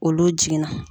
Olu jiginna